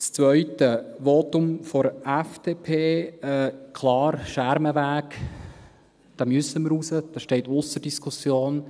Zweitens, zum Votum der FDP: Klar, am Schermenweg müssen wir raus, dies steht ausser Diskussion.